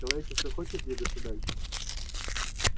человечество хочет двигаться дальше